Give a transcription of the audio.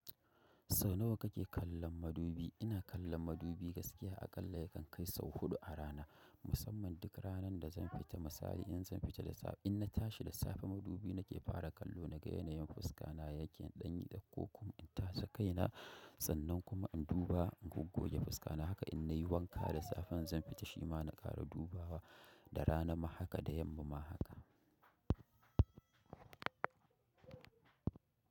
Sau nawa kake kallon madubi? Ina kallon madubi gaskiya aƙalla yakan kai sau huɗu a rana, musamman duk ranan da zan fita. Misali in zan fita da safe, in na tashi da safe madubi nake fara kallo na ga yanayin fuska na, yake ɗan yi ɗakkoko kuma in tashi kaina sannan kuma in duba goggo ya fuska na haka in nayi wanka da safe zan fita shima na ƙara dubawa da rana ma haka da yamma ma haka.